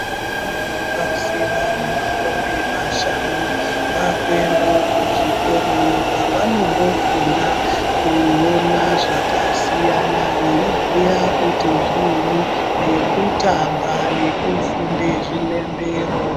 Vanyari pazera remakore mashanu vakuendawo kuzvikoro iyo kwavanondofunda kuona zvakasiyana veibhuya kuti zvinyini nekutamba nekufunde zvilembero